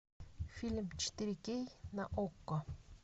фильм четыре кей на окко